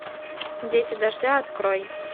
дети дождя открой